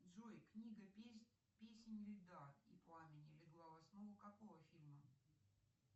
джой книга песнь льда и пламени легла в основу какого фильма